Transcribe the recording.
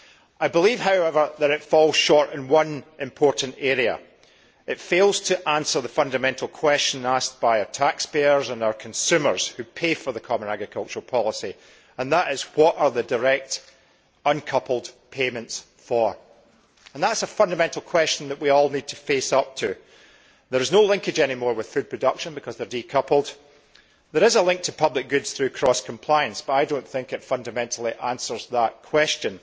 I believe, however, that it falls short in one important area, in that it fails to answer the fundamental question asked by our taxpayers and our consumers who pay for the common agricultural policy what are the direct decoupled payments for? That is a fundamental question that we all need to face up to. There is no longer any linkage with food production because they are decoupled. There is a link to public goods through cross compliance, but I do not think this fundamentally answers that question.